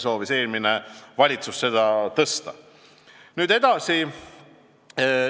Eelmine valitsus soovis seda tõsta 10%.